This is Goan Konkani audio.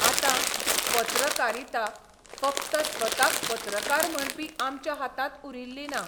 आतां पत्रकारिता फक्त स्वताक पत्रकार म्हणपी आमच्या हातांत उरिल्ली ना.